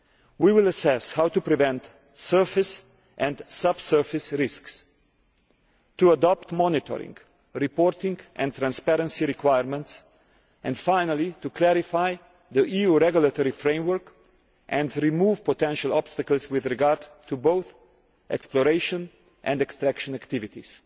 We will assess how to prevent surface and sub surface risks, to adopt monitoring, reporting and transparency requirements and finally to clarify the EU regulatory framework and remove potential obstacles with regard to both exploration and extraction activities.